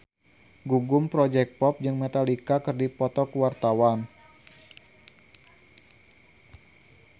Gugum Project Pop jeung Metallica keur dipoto ku wartawan